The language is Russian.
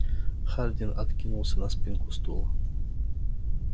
хардин откинулся на спинку стула